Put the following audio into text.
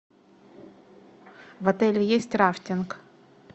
в отеле есть рафтинг